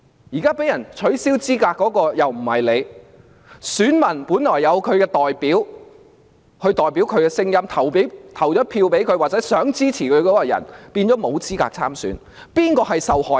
現在遭取消資格的又不是他，而選民本來可以選出代表自己的聲音，但他們想投票支持的人卻沒有資格參選，誰才是受害人？